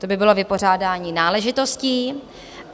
To by bylo vypořádání náležitostí.